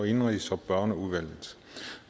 indenrigs og børneudvalget